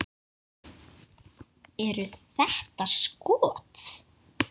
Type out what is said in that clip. Eru þetta skot.